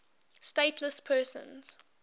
stateless persons